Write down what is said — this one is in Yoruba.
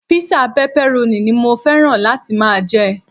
Písà pepperoni ni mo fẹ́ràn láti máa jẹ.